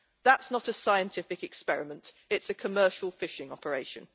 That's not a scientific experiment, it is a commercial fishing operation.